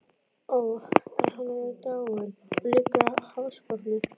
Ó, en hann er dáinn, og liggur á hafsbotni.